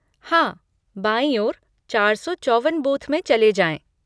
हाँ, बाईं ओर चार सौ चौवन बूथ में चले जाएँ।